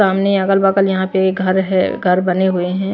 सामने अगल-बगल यहां पे घर है घर बने हुए है।